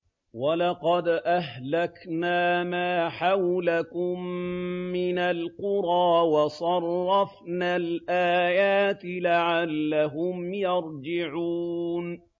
وَلَقَدْ أَهْلَكْنَا مَا حَوْلَكُم مِّنَ الْقُرَىٰ وَصَرَّفْنَا الْآيَاتِ لَعَلَّهُمْ يَرْجِعُونَ